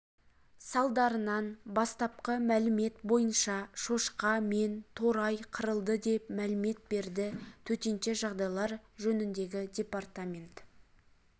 салдарынан бастапқы мәлімет бойынша шошқа мен торай қырылды деп мәлімет берді төтенше жағдайлар жөніндегі департамент